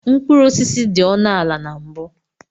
Mkpụrụ osisi dị ọnụ ala na mbu.